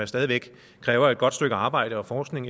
stadig væk kræver et godt stykke arbejde og forskning